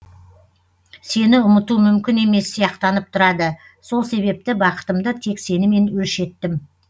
сені ұмыту мүмкін емес сияқтанып тұрады сол себепті бақытымды тек сенімен өлшеттім